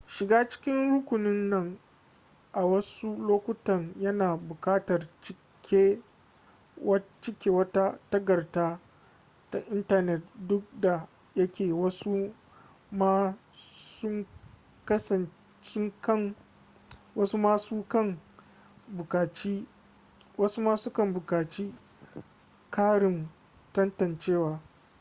shiga cikin rukunin nan a wasu lokutan yana bukatar cike wata takadda ta intanet duk da yake wasu ma su kan bukaci karin tantancewa